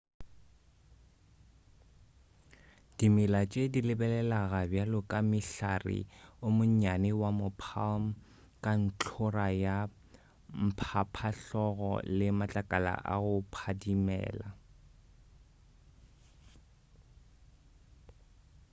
dimela tše di lebelelega bjalo ka mohlare o monnyane wa mo palm ka ntlhora ya mphaphahlogo le matlakala a go phadimela